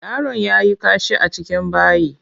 Yaron yayi kashi a cikin bayi.